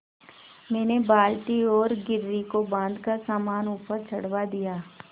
मैंने बाल्टी और घिर्री को बाँधकर सामान ऊपर चढ़वा दिया